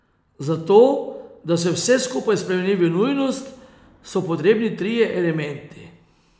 Za to, da se vse skupaj spremeni v nujnost, so potrebni trije elementi.